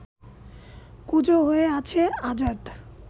কুঁজো হয়ে আছে আজাদ